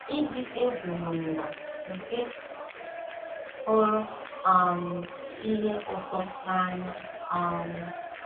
Ịdị egwu n'ụwa nke hụrụ um ihe ụtọ n'anya um